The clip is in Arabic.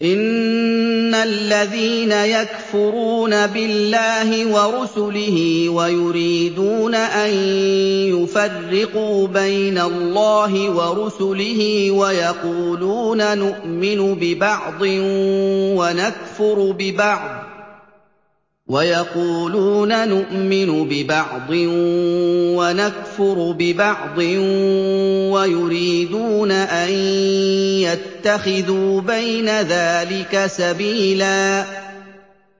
إِنَّ الَّذِينَ يَكْفُرُونَ بِاللَّهِ وَرُسُلِهِ وَيُرِيدُونَ أَن يُفَرِّقُوا بَيْنَ اللَّهِ وَرُسُلِهِ وَيَقُولُونَ نُؤْمِنُ بِبَعْضٍ وَنَكْفُرُ بِبَعْضٍ وَيُرِيدُونَ أَن يَتَّخِذُوا بَيْنَ ذَٰلِكَ سَبِيلًا